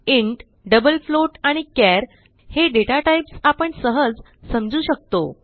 int double float आणि char हे data types आपण सहज समजू शकतो